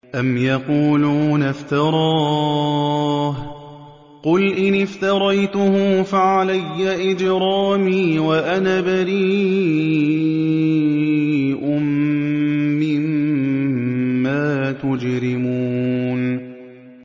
أَمْ يَقُولُونَ افْتَرَاهُ ۖ قُلْ إِنِ افْتَرَيْتُهُ فَعَلَيَّ إِجْرَامِي وَأَنَا بَرِيءٌ مِّمَّا تُجْرِمُونَ